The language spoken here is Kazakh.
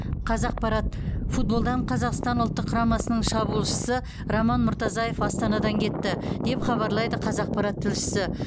қазақпарат футболдан қазақстан ұлттық құрамасының шабуылшысы роман мұртазаев астанадан кетті деп хабарлайды қазақпарат тілшісі